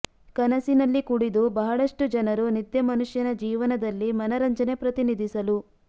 ಕನಸಿನಲ್ಲಿ ಕುಡಿದು ಬಹಳಷ್ಟು ಜನರು ನಿದ್ದೆ ಮನುಷ್ಯನ ಜೀವನದಲ್ಲಿ ಮನರಂಜನೆ ಪ್ರತಿನಿಧಿಸಲು